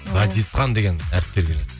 ғазизхан деген әріптерге